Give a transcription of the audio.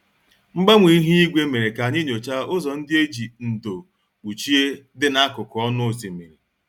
Mgbanwe ihu igwe mere ka anyị nyochaa ụzọ ndị e ji ndo kpuchie dị n'akụkụ ọnụ osimiri